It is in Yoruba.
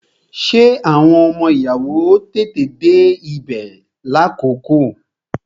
Ṣé àwọn ọmọ ìyàwó ó tètè dé ibè lákòókò?